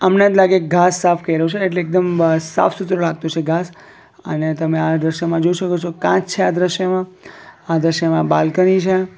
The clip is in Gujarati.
હમણાં જ લાગે ઘાસ સાફ કયરુ છે એટલે એકદમ સાફ સુથરુ લાગતું છે ઘાસ અને તમે આ દૃશ્યમાં જોઈ શકો છો કાચ છે આ દૃશ્યમાં આ દૃશ્યમાં બાલ્કની છે.